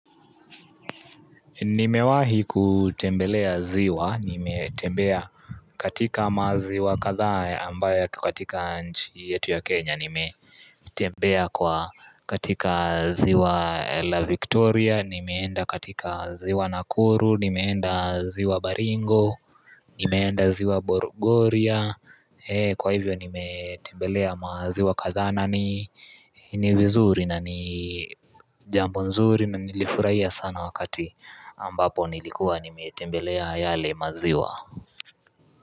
Nimewahi kutembelea ziwa, nimetembea katika maziwa kadhaa ambayo katika nchi yetu ya Kenya Nimetembea katika ziwa la Victoria, nimeenda katika ziwa Nakuru, nimeenda ziwa Baringo, nimeenda ziwa Bogoria Kwa hivyo nimetembelea maziwa kadhaa na ni vizuri na ni jambo nzuri na nilifurahia sana wakati ambapo nilikuwa nimetembelea yale maziwa.